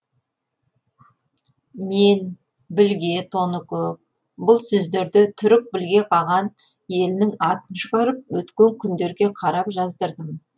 мен білге тоныкөк бұл сөздерді түрік білге қаған елінің атын шығарып өткен күндерге қарап жаздырдым